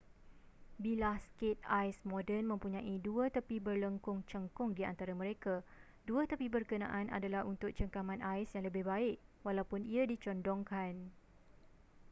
bilah skate ais moden mempunyai dua tepi berlengkung cengkung di antara mereka dua tepi berkenaan adalah untuk cengkaman ais yang lebih baik walaupun ia dicondongkan